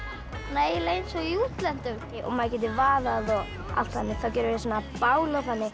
eiginlega eins og í útlöndum maður getur vaðið og allt þannig þá gerum við svona bál og þannig